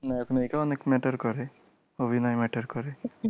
নায়ক নায়িকাও অনেক matter করে, অভিনয় matter করে।